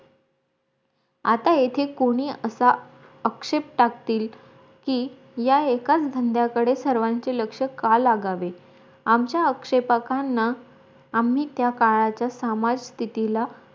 आता येथे कोणी असा आक्षेप टाकतील की या एकाच धंद्याकडे सर्वांचे लक्ष का लागावे आमच्या आक्षेपकांना आम्ही त्या काळाच्या समर्थस्तितीला